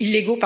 illégaux